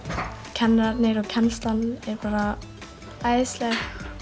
kennararnir og kennslan er bara æðisleg